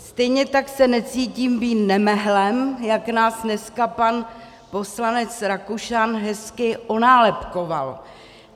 Stejně tak se necítím být nemehlem, jak nás dneska pan poslanec Rakušan hezky onálepkoval.